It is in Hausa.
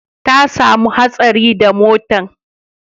Ta samu hatsari da motan